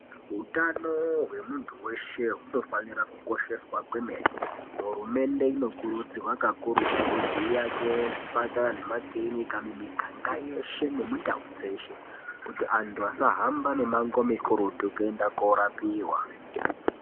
Hutano hwemuntu weshe hunofanira kukosheswa kwemene hurumende inokurudzirwa kakurutu kuti take chipatara nemakirinika mimi ganga yeshe ne muntau dzeshe kuti vantu vasahamba mimango mikurutu kuno rapiwa.